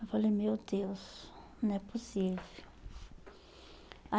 Eu falei, meu Deus, não é possível.